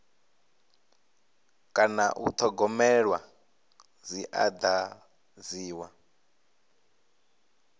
kana u thogomelwa dzi dadziwa